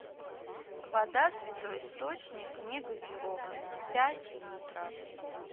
вода святой источник негазированная пять литров